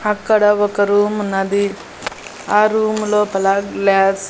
అక్కడ ఒక రూమ్ ఉన్నది ఆ రూము లోపల గ్లాస్ --